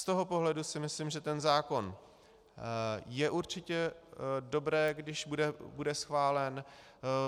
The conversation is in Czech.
Z toho pohledu si myslím, že ten zákon je určitě dobré, když bude schválen.